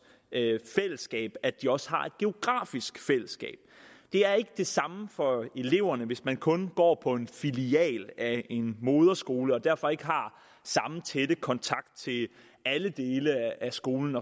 fællesskab at de også har et geografisk fællesskab det er ikke det samme for eleverne hvis man kun går på en filial af en moderskole og derfor ikke har samme tætte kontakt til alle dele af skolen